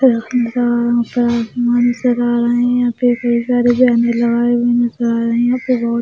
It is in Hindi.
नज़र आ रहे हैं नज़र आ रहे हैं --